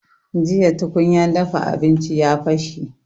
Jiya tukunya dafa abinci ya bashe